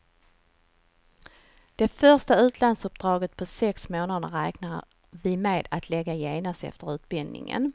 Det första utlandsuppdraget på sex månader räknar vi med att lägga genast efter utbildningen.